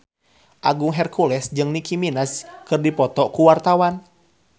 Agung Hercules jeung Nicky Minaj keur dipoto ku wartawan